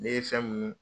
Ne ye fɛn mun